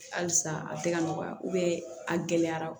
Halisa a tɛ ka nɔgɔya a gɛlɛyara